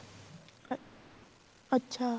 ਅੱਛਾ